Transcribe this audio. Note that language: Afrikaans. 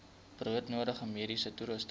broodnodige mediese toerusting